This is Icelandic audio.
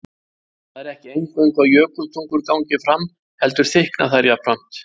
Það er ekki eingöngu að jökultungur gangi fram heldur þykkna þær jafnframt.